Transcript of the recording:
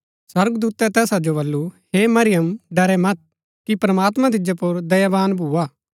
स्वर्गदूतै तैसा जो बल्लू हे मरियम डरैं मत कि प्रमात्मां तिजो पुर दयावान भुआ